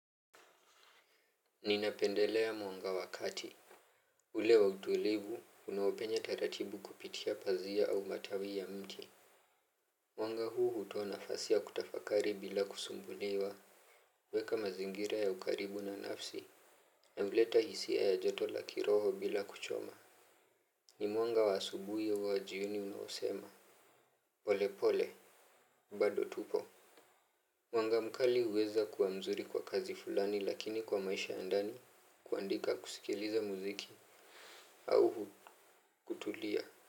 Ninapendelea mwanga wa kati. Ule wa utulivu unaopenya taratibu kupitia pazia au matawi ya mti mwanga huu hutoa nafasi ya kutafakari bila kusumbuliwa. Weka mazingira ya ukaribu na nafsi. Na huleta hisia ya joto la kiroho bila kuchoma. Ni mwanga wa asubui au wa jioni unaosema pole pole. Bado tupo. Mwanga mkali huweza kuwa mzuri kwa kazi fulani lakini kwa maisha ya ndani kuandika kusikiliza muziki. Au kutulia.